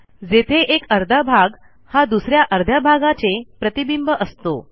जेथे एक अर्धा भाग हा दुस या अर्ध्याचे प्रतिबिंब असतो